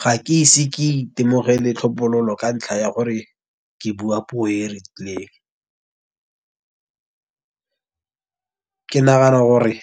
Ga ke ise ke itemogele tlhophololo ka ntlha ya gore ke bua puo e e rileng. Ke nagana gore